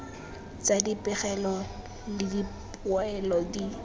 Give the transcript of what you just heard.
tsa dipegelo le dipoelo di